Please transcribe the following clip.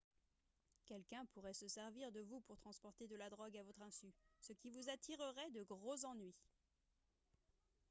quelqu'un pourrait se servir de vous pour transporter de la drogue à votre insu ce qui vous attirerait de gros ennuis